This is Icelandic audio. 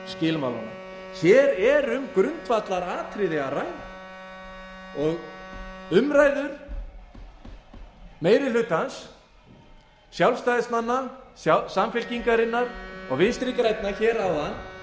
skilmálanna hér er um grundvallaratriði að ræða og umræður meiri hlutans sjálfstæðismanna samfylkingarinnar og vinstri grænna hér áðan